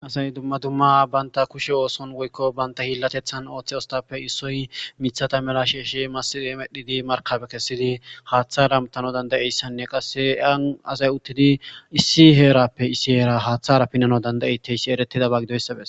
Hasay dumma dumma banta kushe ooson goykko banta hillatethan ooththe ostappe issoy mithata mela shieshi massi emedhidi markabe kessidi haaththa ramtano dandayeyssanne qasse aan asay uttidi issi heerappe issi heera haaththara pinano danda7ete yssi eretidaba gidoyssabes.